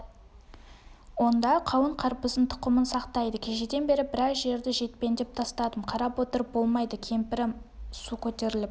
онда қауын-қарбыздың тұқымын сақтайды кешеден бері біраз жерді кетпендеп тастадым қарап отырып болмайды кемпірім су көтеріліп